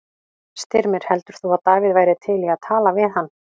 Styrmir, heldur þú að Davíð væri til í að tala við hann?